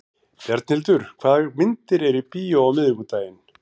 Bjarnhildur, hvaða myndir eru í bíó á miðvikudaginn?